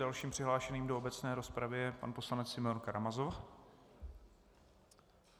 Dalším přihlášeným do obecné rozpravy je pan poslanec Simeon Karamazov.